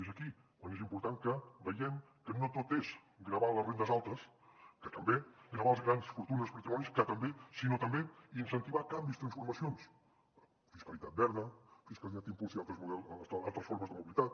és aquí quan és important que veiem que no tot és gravar les rendes altes que també gravar les grans fortunes i patrimonis que també sinó també incentivar canvis transformacions fiscalitat verda fiscalitat que impulsi altres formes de mobilitat